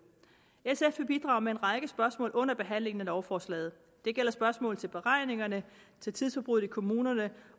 sf vil bidrage med en række spørgsmål under behandlingen af lovforslaget det gælder spørgsmål til beregningerne til tidsforbruget i kommunerne